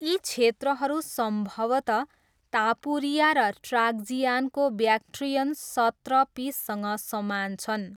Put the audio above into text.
यी क्षेत्रहरू सम्भवतः तापुरिया र ट्राक्जियानको ब्याक्ट्रियन सत्रपिससँग समान छन्।